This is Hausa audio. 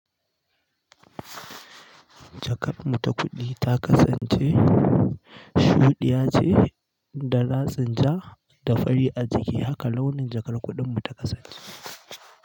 Jakar mu ta kuɗi ta kasance shu ɗiya ce da ratsin ja da fari a jiki, haka launin jakar kuɗin mu ta kasance.